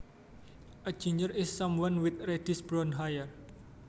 A ginger is someone with reddish brown hair